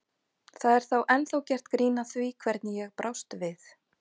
Það er ennþá gert grín að því hvernig ég brást við.